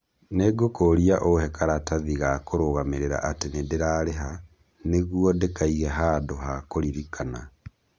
Nĩ ngũkũũria ũhe karatathi ga kũrũgamĩrĩra atĩ nĩ ndĩrarĩha, nĩguo ndĩkaige handũ ha kũririkana.